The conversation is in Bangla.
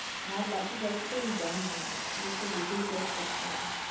আর বাকি গল্পটা আমি জানি না ওদের। ওদেরটা google search করতে হবে।